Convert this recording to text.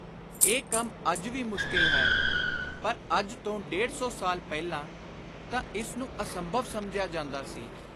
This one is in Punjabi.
ਇਹ ਕੰਮ ਅੱਜ ਵੀ ਮੁਸ਼ਕਿਲ ਹੈ; ਪਰ ਅੱਜ ਤੋਂ ਡੇਢ-ਦੋ ਸੌ ਸਾਲ ਪਹਿਲਾਂ ਤਾਂ ਇਸ ਨੂੰ ਅਸੰਭਵ ਸਮਝਿਆ ਜਾਂਦਾ ਸੀ।